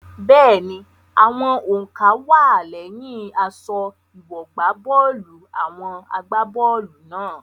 Bẹ́ẹ̀ni, àwọn òǹkà wá á lẹ́yìn aṣọ ìwọ̀gbábọ́ọ̀lù àwọn agbá bọ́ọ̀lù náà.